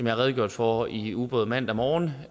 har redegjort for i ugebrevet mandag morgen